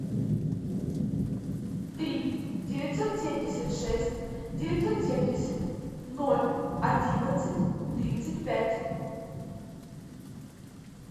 три девятьсот семьдесят шесть девятьсот семьдесят ноль одиннадцать тридцать пять